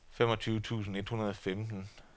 femogtyve tusind et hundrede og femten